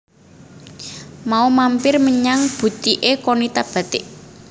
Mau mampir menyang butike Qonita Batik